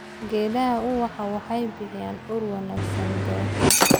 Geedaha ubaxa waxay bixiyaan ur wanaagsan beerta.